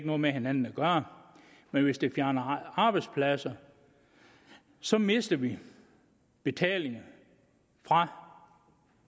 noget med hinanden at gøre man hvis det fjerner arbejdspladser så mister vi betalinger fra